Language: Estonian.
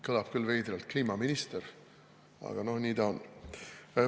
Kõlab küll veidralt, kliimaminister, aga nii ta on.